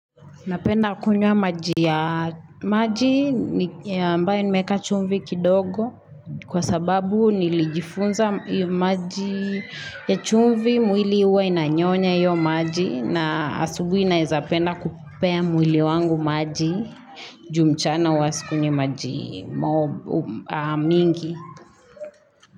Napenda kunywa maji ya maji ambaye nimeka chumvi kidogo Kwa sababu nilijifunza maji ya chumvi mwili uwa inanyonya iyo maji na asubu inaiza penda kupea mwili wangu maji jumchana wa sikunye maji mingi.